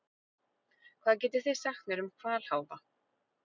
Hvað getið þið sagt mér um hvalháfa?